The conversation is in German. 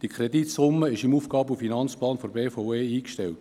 Diese Kreditsumme ist im Aufgaben- und Finanzplan (AFP) der BVE eingestellt.